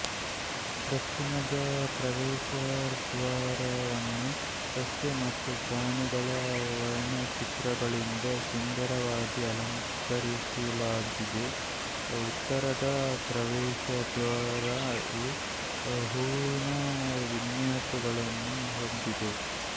ದಕ್ಷಿಣದ ಪ್ರವೇಶದ್ವಾರವನ್ನು ಸಸ್ಯ ಮತ್ತು ಪ್ರಾಣಿಗಳ ವರ್ಣಚಿತ್ರಗಳಿಂದ ಸುಂದರವಾಗಿ ಅಲಂಕರಿಸಲಾಗಿದ್ದು ಉತ್ತರದ ಪ್ರವೇಶದ್ವಾರವು ಹೂವಿನ ವಿನ್ಯಾಸಗಳನ್ನು ಹೊಂದಿದೆ